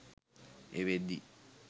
ඒ වෙද්දි